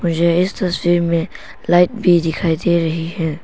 मुझे इस तस्वीर में लाइट भी दिखाई दे रही है।